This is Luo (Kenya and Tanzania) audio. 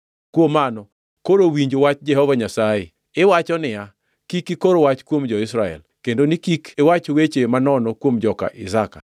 Kuom mano, koro winj wach Jehova Nyasaye. Iwacho niya, “ ‘Kik ikor wach kuom jo-Israel, kendo ni kik iwach weche manono kuom joka Isaka.’